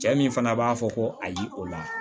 Cɛ min fana b'a fɔ ko ayi o la